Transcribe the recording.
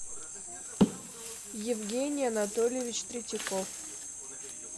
евгений анатольевич третьяков